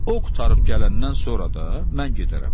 O qurtarıb gələndən sonra da mən gedərəm.